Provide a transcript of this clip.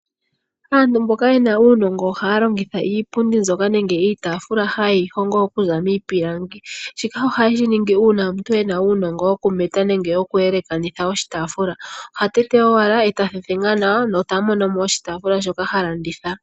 Aantu mboka ye na uunongo ohaya longitha iipundi mbyoka nenge iitaafula haye yi hongo okuza miipilangi. Shika ohaye shi ningi uuna omuntu e na uunongo wokumeta nenge okuyelekanitha oshitaafula. Oha tete owala e ta thethenga nawa nota mono mo oshitaafula shoka ha landitha.